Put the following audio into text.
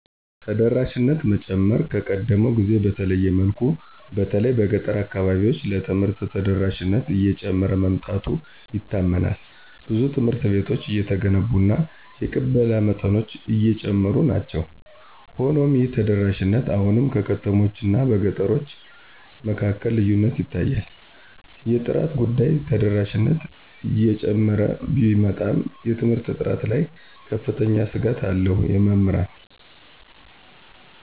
ተደራሽነትን መጨመር ከቀደመው ጊዜ በተለየመልኩ በተለይ በገጠር አካባቢዎች ለትምህርት ተደራሽነት እየጨመረ መምጣቱ ይታመናል ብዙ ትምሀርት ቤቶች እየተገነቡ እና የቅበላ መጠኖች አጨሙሩናቸዉ። ሆኖሞይህተደራሽነት አሁንም በከተሞች አናበገጠሮቸ መካከልልዪነት ይታያል። የጥራት ጉዳይ ተደራሽነት እጨመረ ቢመጣም የትምርት ጥራት ላይ ከፍተኛ ስጋትአለዉ የምህራን